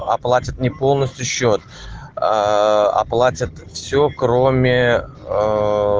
оплатит не полностью счёт аа оплатит все кроме аа